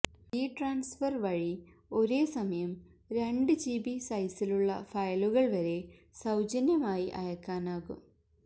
V transfer വഴി ഒരേസമയം രണ്ട് ജിബി സൈസിലുള്ള ഫയലുകള് വരെ സൌജന്യമായി അയക്കാനാകും